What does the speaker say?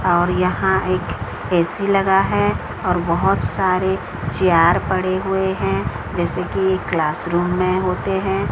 और यहां एक ए_सी लगा है और बहोत सारे चिआर पड़े हुए हैं जैसे कि क्लासरूम में होते हैं।